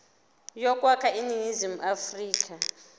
yokwakha iningizimu afrika